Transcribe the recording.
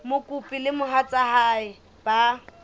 mokopi le mohatsa hae ba